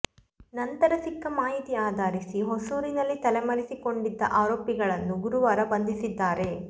ನಂತರ ಸಿಕ್ಕ ಮಾಹಿತಿ ಆಧರಿಸಿ ಹೊಸೂರಿನಲ್ಲಿ ತಲೆಮರೆಸಿಕೊಂಡಿದ್ದ ಆರೋಪಿಗಳನ್ನು ಗುರುವಾರ ಬಂಧಿಸಿದ್ದಾರೆ